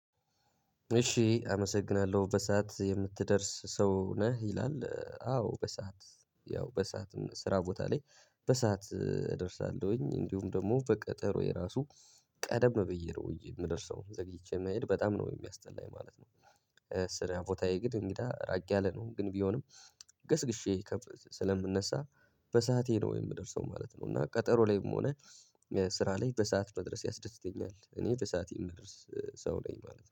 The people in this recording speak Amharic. እሺ አመሰግናለሁ በሰአት የምትደርስ ሰው ነህ? ይላል አዎ በሰአት ያው በሰአትም ስራ ቦታ ላይ በሰአት እደርሳለሁኝ እንዲሁም ደግሞ በቀጠሮ የራሱ ቀደም ብዬ ነው የምደርሰው ዘግይቼ መሄድ በጣም ነው የሚያስጠላኝ ማለት ነው። ስራ ቦታዬ ግን ምንድነው ራቅ ያለ ነው ግን ቢሆንም ገስግሼ ስለምነሳ በሰአቴ ነው የምደርሰው ማለት ነው እና ቀጠሮ ላይም ሆነ ስራ ላይ በሰአት መድረስ ያስደስተኛል እኔ በሰአቴ የምደርስ ሰው ነኝ ማለት ነው።